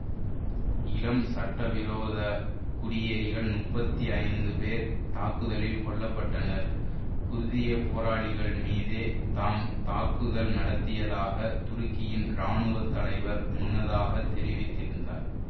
இளம் சட்டவிரோதக் குடியேறிகள் முப்பத்தி ஐந்து பேர் தாக்குதலில் கொல்ல பட்டனர் குர்திய போராளிகள் மீதே தாம் தாக்குதல் நடத்தியதாக துருக்கியின் இராணுவத்தலைவர் முன்னதாகத் தெரிவித்திருந்தார்